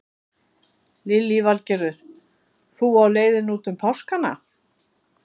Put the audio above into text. Lillý Valgerður: Þú á leiðinni út um páskana?